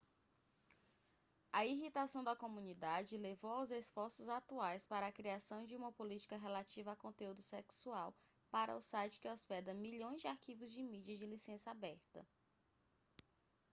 a irritação da comunidade levou aos esforços atuais para a criação de uma política relativa a conteúdo sexual para o site que hospeda milhões de arquivos de mídia de licença aberta